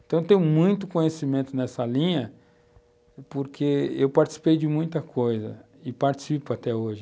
Então eu tenho muito conhecimento nessa linha porque eu participei de muita coisa e participo até hoje.